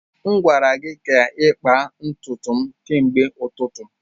M gwara gị ka ịkpa ntutu m kemgbe ụtụtụ.